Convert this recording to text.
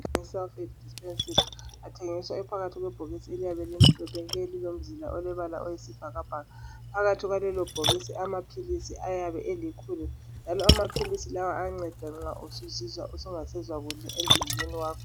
Amaphilisi e"Sulphate dispersible" athengiswa ephakathi kwebhokisi eliyabe limhlophe nke lilomzila olebala oyisibhakabhaka. Phakathi kwalelo bhokisi amaphilisi ayabe elikhulu njalo amaphilisi lawa ayanceda nxa usuzizwa ungasezwa kuhle emzimbeni wakho.